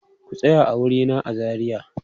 Ku tsaya a wurina a Zariya!